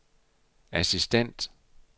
assistent